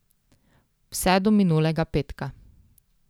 Vse do minulega petka.